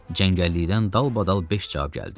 Cəngəllikdən dalbadal beş cavab gəldi.